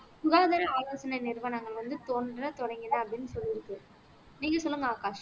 சுகாதார ஆலோசனை நிறுவனங்கள் வந்து தோன்ற தொடங்கின அப்படின்னு சொல்லி இருக்கு நீங்க சொல்லுங்க ஆகாஷ்